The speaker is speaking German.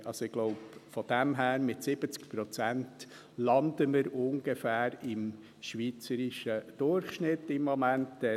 Ich glaube daher, dass wir mit 70 Prozent ungefähr im schweizerischen Durchschnitt landen.